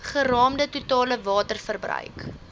geraamde totale waterverbruik